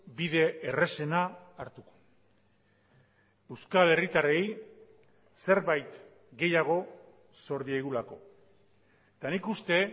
bide errazena hartuko euskal herritarrei zerbait gehiago zor diegulako eta nik uste